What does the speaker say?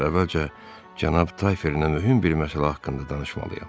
Ancaq əvvəlcə cənab Tayferlə mühüm bir məsələ haqqında danışmalıyam.”